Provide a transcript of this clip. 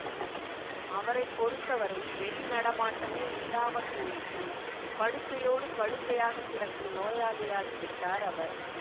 அவரை பொறுத்த வரை வெளி நடமாட்டமே இல்லாம போயிற்று படுக்கையோடு படுக்கையாகக் கிடக்கும் நோயாளியாகி விட்டார் அவர்